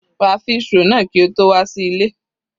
Ra fish roll náà kí o tó wà sí ilé.